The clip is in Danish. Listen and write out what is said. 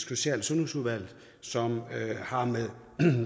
social og sundhedsudvalget som har med